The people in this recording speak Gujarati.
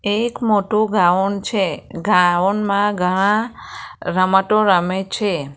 એક મોટો ગાઉન છે ગાઉન માં ઘણા રમતો રમે છે.